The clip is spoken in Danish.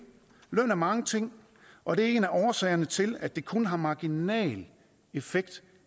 løn er mange ting og det er en af årsagerne til at det kun har marginal effekt